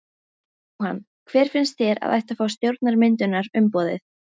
Jóhann: Hver finnst þér að ætti að fá stjórnarmyndunarumboðið?